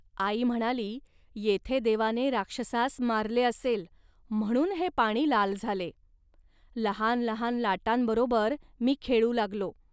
.आई म्हणाली, "येथे देवाने राक्षसास मारले असेल, म्हणून हे पाणी लाल झाले. लहान लहान लाटांबरोबर मी खेळू लागलो